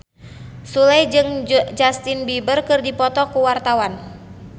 Sule jeung Justin Beiber keur dipoto ku wartawan